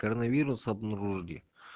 кронавирус обнаружили